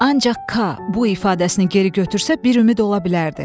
Ancaq K, bu ifadəsini geri götürsə, bir ümid ola bilərdi.